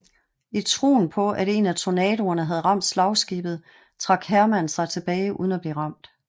I troen på at en af torpedoerne havde ramt slagskibet trak Heermann sig tilbage uden at blive ramt